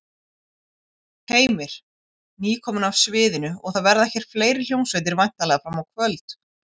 Heimir: Nýkomin af sviðinu og það verða hér fleiri hljómsveitir væntanlega fram á kvöld?